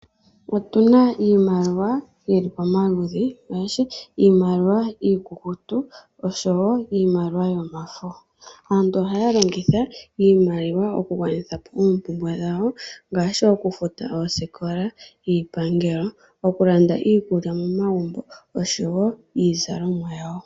Otuna iimaliwa yili pomaludhi ngaashi iimaliwa iikukutu oshowo iimaliwa yomafo. Aantu ohaya longitha iimaliwa oku gwanithapo oompumbwe dhawo ngaashi okufuta oosikola niipangelo ,okulanda iikulya momagumbo oshowo iizalomwa yawo.